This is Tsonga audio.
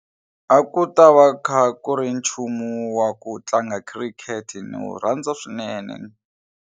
A ku ta va kha ku ri nchumu wa ku tlanga khirikete ni wu rhandza swinene.